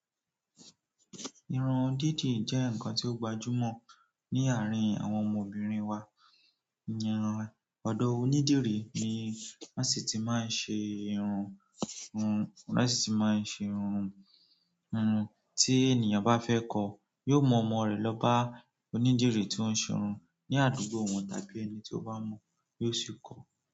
Irun dídì jẹ́ ǹkan tí ó gbajúmọ̀ ní àárín àwọn ọmọbìnrin wa. Ìyen rìn ọ̀dọ̀ onídìrí ni wọ́n sì ti máa ń ṣe irun, wọ́n sì ti máa ń ṣe irun. Ti ènìyàn bá fẹ́ kọ́, yóò mú ọmọ rẹ̀ lọ bá onídìrí tó ń ṣe irun ní àdúgbò wọn tàbí ẹni tí ó bá mọ̀ yóò sì kọ́ ọ́.